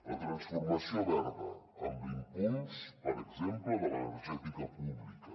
la transformació verda amb l’impuls per exemple de l’energètica pública